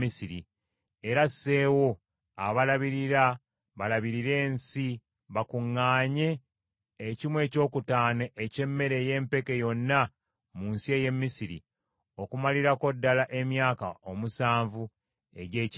Era asseewo abalabirira balabirire ensi bakuŋŋaanye ekimu ekyokutaano eky’emmere ey’empeke yonna mu nsi ey’e Misiri okumalirako ddala emyaka omusanvu egy’ekyengera.